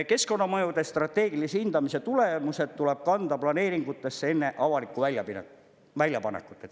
Keskkonnamõjude strateegilise hindamise tulemused tuleb kanda planeeringutesse enne avalikku väljapanekut.